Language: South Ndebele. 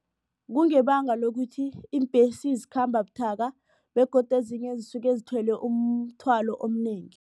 Kungebanga lokuthi iimbhesi zikhamba buthaka begodu ezinye zisuke zithwele umthwalo omnengi.